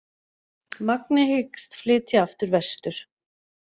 Magni hyggst flytja aftur vestur